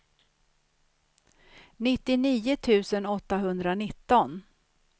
nittionio tusen åttahundranitton